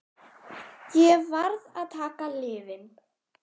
Ég varð að taka lyfin.